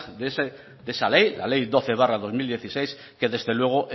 de esa ley la ley doce barra dos mil dieciséis que desde luego